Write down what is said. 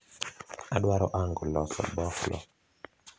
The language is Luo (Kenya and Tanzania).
adwaro ango loso boflo